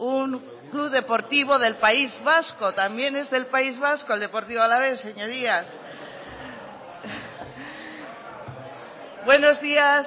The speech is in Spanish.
un club deportivo del país vasco también es del país vasco el deportivo alavés señorías buenos días